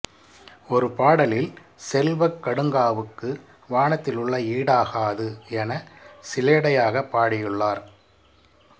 ஒரு பாடலில் செல்வக் கடுங்காவுக்கு வானத்திலுள்ள ஈடாகாது எனச் சிலேடையாகப் பாடியுள்ளார்